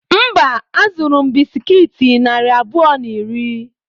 Mba, azụrụ m bisikiiti narị abụọ na iri.